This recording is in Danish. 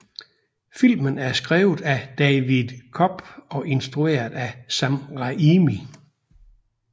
Filmen er skrevet af David Koepp og instrueret af Sam Raimi